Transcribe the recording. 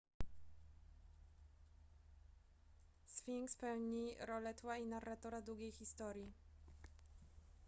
sfinks pełni rolę tła i narratora długiej historii